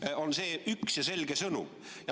See on see üks ja selge sõnum.